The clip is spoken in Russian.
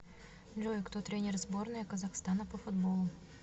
джой кто тренер сборная казахстана по футболу